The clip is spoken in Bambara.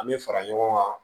An bɛ fara ɲɔgɔn kan